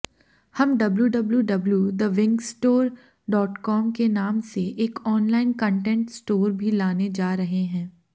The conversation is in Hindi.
हम डब्ल्यूडब्ल्यूडब्ल्यूदविंकस्टोरडॉटकॉम के नाम से एक ऑनलाइन कंटेंट स्टोर भी लाने जा रहे हैं